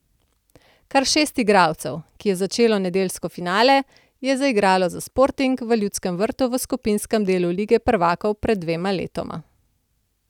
Kar šest igralcev, ki je začelo nedeljski finale, je zaigralo za Sporting v Ljudskem vrtu v skupinskem delu lige prvakov pred dvema letoma.